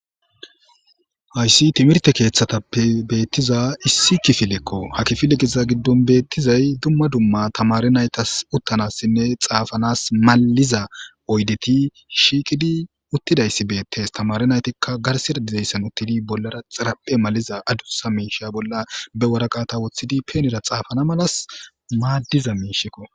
Hayssi timirte keeththatappe beettiza issi kifilekko ha kifiliqiza giddon beettizay dumma dumma tamari naytas uttanassinne xaafanas maliza oydeti shiiqidi uttidayssi beettes tamari naytikka garsida dizayssan uttidi bollara xaraphe maliza adusa miisha bolla be waraqata woththidi peenera xaafana malas maaddiza miishikko.